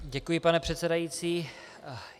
Děkuji, pane předsedající.